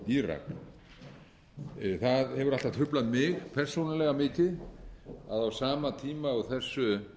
írak það hefur alltaf truflað mig persónulega mikið að á sama tíma og þessu